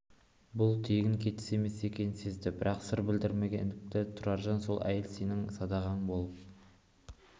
бұл тегін кетіс емес екенін сезді бірақ сыр білдірмегенсіді тұраржан сол әйел сенің садағаң болып